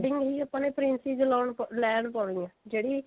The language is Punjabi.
according ਹੀ ਆਪਾਂ ਨੇ princess ਲੋਂ ਲੈਣ ਪਾਉਣੀ ਹੈ ਜਿਹੜੀ